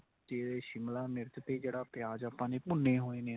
ਤੇ ਸ਼ਿਮਲਾ ਮਿਰਚ ਤੇ ਜਿਹੜਾ ਪਿਆਜ ਆਪਾਂ ਨੇ ਭੁੰਨੇ ਹੋਏ ਨੇ